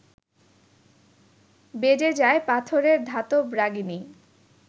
বেজে যায় পাথরের ধাতব রাগিনী